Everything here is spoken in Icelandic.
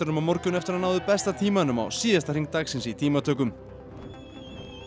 á morgun eftir hann náði besta tímanum á síðasta hring dagsins í tímatökum og